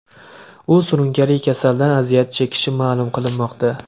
U surunkali kasaldan aziyat chekishi ma’lum qilinmoqda.